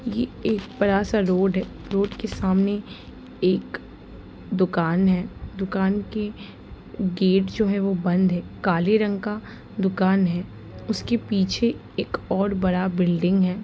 ये एक बड़ा सा रोड है। रोड के सामने एक दुकान है। दुकान के गेट जो है वो बंद है काले रंग का दुकान है उसके पीछे एक और बड़ा बिल्डिंग है।